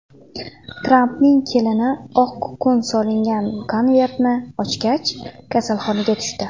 Trampning kelini oq kukun solingan konvertni ochgach, kasalxonaga tushdi.